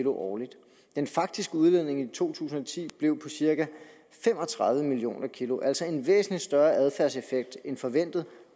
årligt den faktiske udledning i to tusind og ti blev på cirka fem og tredive million kg altså en væsentlig større adfærdseffekt end forventet